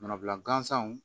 Manabila gansanw